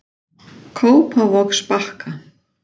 Kópavogsbakka